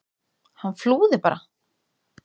Hann flúði bara!